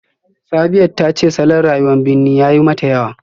Sabiyat ta ce salon rayuwar birni ya yi mata yawa